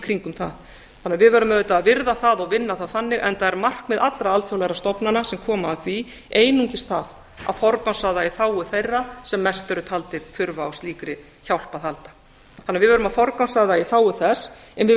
kringum það við verðum auðvitað að virða það og vinna það þannig enda er markmið allra alþjóðlegra stofnana sem koma að því einungis það að forgangsraða í þágu þeirra sem mest eru taldir þurfa á slíkri hjálp að halda við verðum að forgangsraða í þágu þess en við